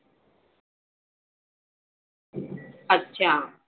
अच्छा.